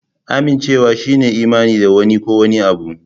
Amincewa shine yin imani da wani ko wani abu.